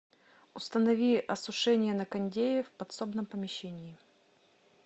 установи осушение на кондее в подсобном помещении